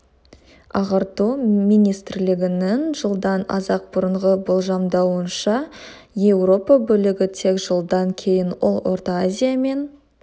ағарту министрлігінің жылдан аз-ақ бұрынғы болжамдауынша еуропа бөлігі тек жылдан кейін ол орта азия мен